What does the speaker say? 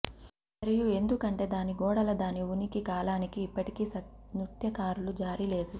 మరియు ఎందుకంటే దాని గోడల దాని ఉనికి కాలానికి ఇప్పటికీ నృత్యకారులు జారీ లేదు